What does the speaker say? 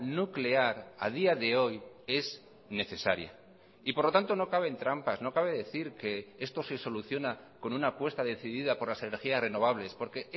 nuclear a día de hoy es necesaria y por lo tanto no caben trampas no cabe decir que esto se soluciona con una apuesta decidida por las energías renovables porque